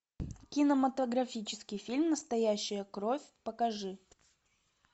кинематографический фильм настоящая кровь покажи